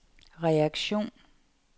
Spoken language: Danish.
reaktion